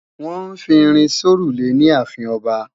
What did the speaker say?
Wọ́n ń fi irin sórùlé ní ààfin ọba